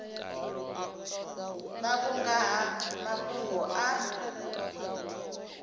vhavho nga ha mafhungo a